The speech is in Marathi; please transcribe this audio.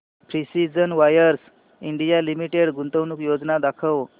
प्रिसीजन वायर्स इंडिया लिमिटेड गुंतवणूक योजना दाखव